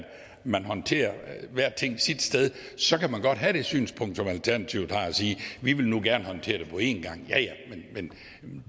man håndterer hver ting sit sted så kan man godt have det synspunkt som alternativet har og sige vi vil gerne håndtere det på en gang ja ja men